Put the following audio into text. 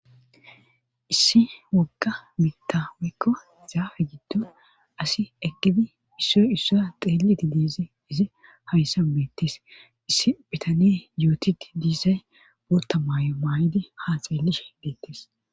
issi wogga mitawekko zaafe giddo asi egidi issoy issoya xeeliti diezi izi hawissan beettis issi bitane yootidi diisay bootta maayo maay7idi ha xeellih beettis